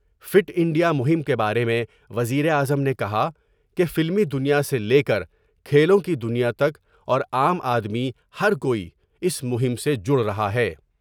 Fit India مہم کے بارے میں وزیراعظم نے کہا کہ فلمی دنیا سے لے کر کھیلوں کی دنیا تک اور عام آدمی ہر کوئی اس مہم سے جڑ رہا ہے ۔